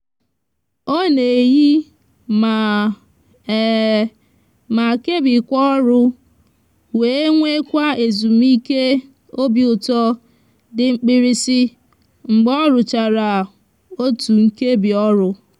o n'eyi ma ma kebikwa oru we nwekwa ezumike obi uto di mkpirisi mgbe oruchara otu nkebi oru